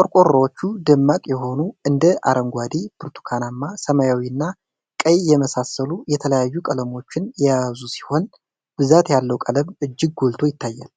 ቆርቆሮዎቹ ደማቅ የሆኑ እንደ አረንጓዴ፣ ብርቱካናማ፣ ሰማያዊ እና ቀይ የመሳሰሉ የተለያዩ ቀለሞችን የያዙ ሲሆን፣ ብዛት ያለው ቀለም እጅግ ጎልቶ ይታያል።